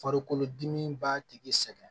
Farikolodimi b'a tigi sɛgɛn